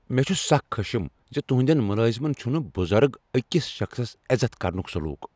مےٚ چھ سخ خشم زِ تہنٛدین ملازمن چھُنہ بزرگ أکس شخصس عزت کرُنک سلوک۔